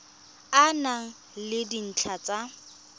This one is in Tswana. e na le dintlha tsa